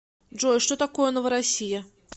джой что такое новороссия